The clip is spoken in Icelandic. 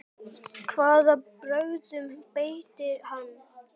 Hvaða brögðum beitti hann?